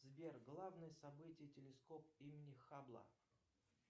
сбер главное событие телескоп имени хабла